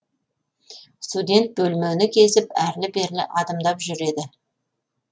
студент бөлмені кезіп әрлі берлі адымдап жүр еді